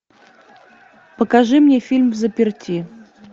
покажи мне фильм взаперти